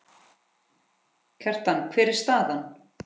Kjartan, hver er staðan?